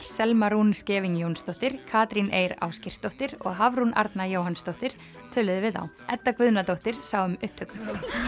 Selma Rún Scheving Jónsdóttir Katrín Eir Ásgeirsdóttir og Hafrún Arna Jóhannsdóttir töluðu við þá Edda Guðnadóttir sá um upptöku